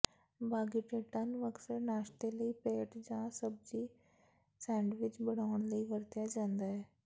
ਬਾਗੀਟੇਟਾਂ ਨੂੰ ਅਕਸਰ ਨਾਸ਼ਤੇ ਲਈ ਪੈਟ ਜਾਂ ਸਬਜ਼ੀ ਸੈਂਡਵਿਚ ਬਣਾਉਣ ਲਈ ਵਰਤਿਆ ਜਾਂਦਾ ਹੈ